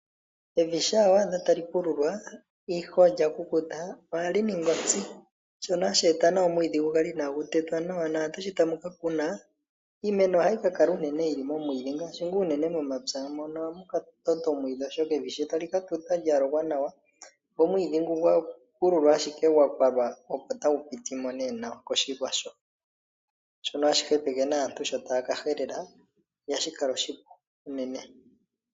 Evi shampa wa adha tali pululwa, ihe olya kukuta ohali ningi ontsi, shono hashi eta omwiidhi gu kale inaagu tetwa nawa naantu shi tamu ka kuna iimeno ohayi ka kala unene yi li momwiidhi ngaashi momapya. Evi shi tali ka tuta lya lokwa nawa go omwiidhi ngoka gwa pululwa ashike gwa kwalwa opo tagu piti mo koshilwa hoka, shono hashi hepeke aantu shi taya ka helela, oshoka ihashi kala oshipu unene.